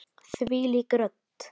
Þvílík rödd!